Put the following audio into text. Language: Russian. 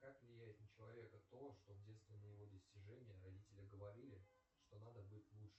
как влияет на человека то что в детстве на его достижения родители говорили что надо быть лучше